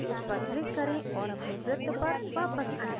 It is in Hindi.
इस पर click करें और अपने वृत्त पर वापस आएँ